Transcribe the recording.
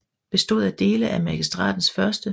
Bestod af dele af Magistratens 1